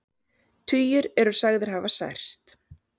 Tugir eru sagðir hafa særst